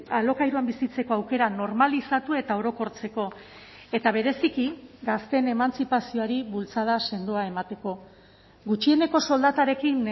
alokairuan bizitzeko aukera normalizatu eta orokortzeko eta bereziki gazteen emantzipazioari bultzada sendoa emateko gutxieneko soldatarekin